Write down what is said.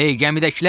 Ey gəmidəkilər!